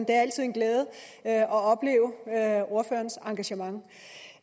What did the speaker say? er altid en glæde at opleve ordførerens engagement